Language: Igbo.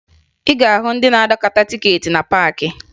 Ị ga-ahụ ndị na-anakọta tikeeti na paakị